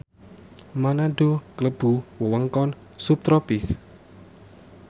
Manado klebu wewengkon subtropis